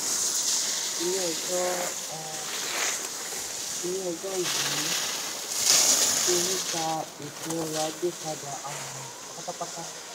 um ilé ẹjọ́ um ilé ẹjọ́ um yìí ti yípa ètò ọrọ̀ ajé padà um pátápátá.